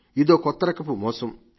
ఇదో కొత్తరకపు మోసం